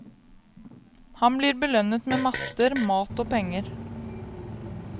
Han blir belønnet med matter, mat og penger.